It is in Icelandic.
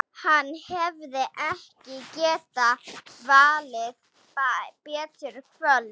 Hann hefði ekki getað valið betra kvöld.